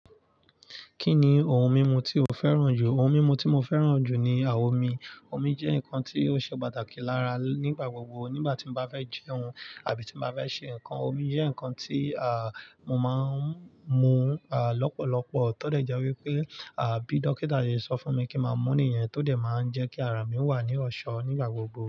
Kí ni ohun mímu tí o fẹ́ràn jù? Ohun mímu tí mo fẹ́ràn jù ni à omi. Omi jẹ́ nǹkan tí ó ṣe pàtàkì lára nígbà gbogbo. Nígbà tí mo bá fẹ́ jẹun àbí tí mo bá fẹ́ ṣe nǹkan, omi jẹ́ nǹkan tí, à, mo máa ń mu, à, lọ́pọ̀lọpọ̀. Ti ó dẹ̀ jẹ́ wípé bí dókítà ṣe sọ fún mi kí n máa mú nìyẹn, ti ó dé máa ń jẹ́ kí àrà mi wà ní ọ̀ṣọ́ ni ígbà gbogbo.